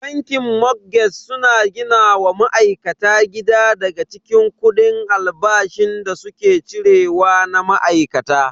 Bankin motgeg suna gina wa ma'aikata gida daga cikin kudi albashin da suke cire wa na ma'aikata.